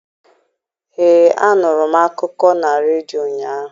Ee, anụrụ m akụkọ na redio ụnyaahụ.